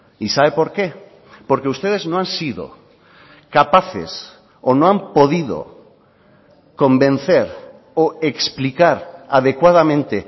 y sabe por qué porque ustedes no han sido capaces o no han podido convencer o explicar adecuadamente